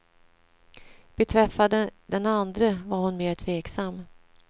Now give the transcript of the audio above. Beträffande den andre var hon mer tveksam.